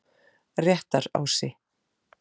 Réttarási